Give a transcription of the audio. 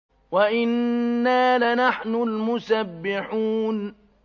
وَإِنَّا لَنَحْنُ الْمُسَبِّحُونَ